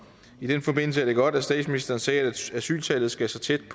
i den forbindelse er det godt at statsministeren sagde at asyltallet skal så tæt